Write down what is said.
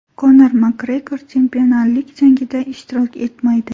Konor Makgregor chempionlik jangida ishtirok etmaydi.